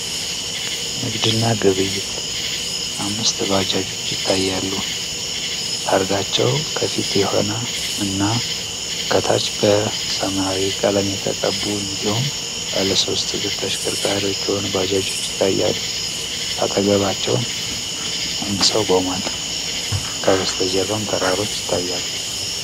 ንግድ እና ግብይት፤ አምስት ባጃጆች ይታያሉ፤ ታርጋቸው ከፊት የሆነ እና ከታች በሰማያዊ ቀለም የተቀቡ እንዲሁም ባለሶስት እግር ተሽከርካሪዎች የሆኑ ባጃጆች ይታያሉ። አጠገባቸው አንድ ሰው ቆሟል፤ ከበስተጀርባም ተራሮች ይታያሉ።